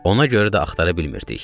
Ona görə də axtara bilmirdik.